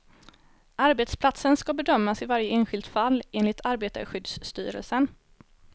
Arbetsplatsen ska bedömas i varje enskilt fall, enligt arbetarskyddsstyrelsen.